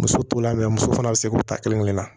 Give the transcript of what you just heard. Muso to la muso fana bɛ se k'u ta kelen kelen na